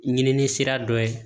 Ɲinini sira dɔ ye